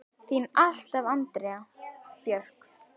Þín alltaf, Andrea Björk.